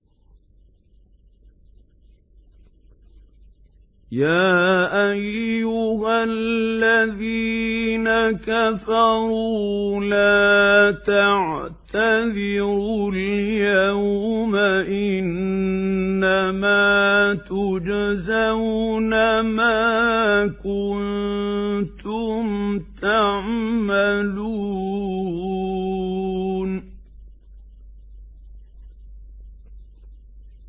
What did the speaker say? يَا أَيُّهَا الَّذِينَ كَفَرُوا لَا تَعْتَذِرُوا الْيَوْمَ ۖ إِنَّمَا تُجْزَوْنَ مَا كُنتُمْ تَعْمَلُونَ